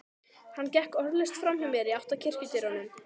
Hann gekk orðalaust framhjá mér í átt að kirkjudyrunum.